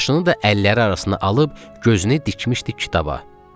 Başını da əlləri arasına alıb gözünü dikmişdi kitaba.